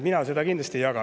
Mina seda kindlasti ei jaga.